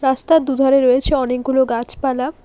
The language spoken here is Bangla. রাস্তার দু'ধারে রয়েছে অনেকগুলো গাছপালা।